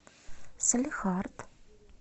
салехард